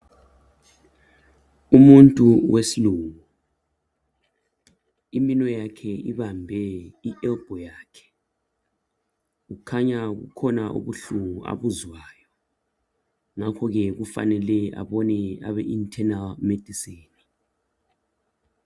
umuntu wesilungu iminwe yakhe ibambe i elbo yakhe kukhanya kukhona ubuhlungu abuzwayo ngakho ke kumele abone abe internal medicine